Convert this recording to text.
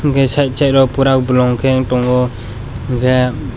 hwnkhe side side o poora bolongkhe ung tongo hwnkhe.